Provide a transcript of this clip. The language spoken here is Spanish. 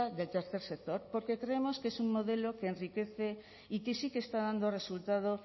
del tercer sector porque creemos que es un modelo que enriquece y que sí que está dando resultado